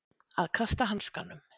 Að kasta hanskanum